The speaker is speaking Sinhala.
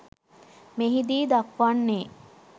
මෙහිදී දක්වන්නේ